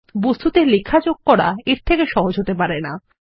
বস্তুতে লেখা যোগ করা এর থেকে সহজ হতে পারে না160